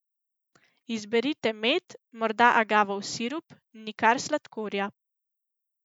Izberite med, morda agavov sirup, nikar sladkorja.